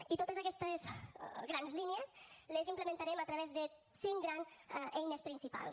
i totes aquestes grans línies les implementarem a través de cinc grans eines principals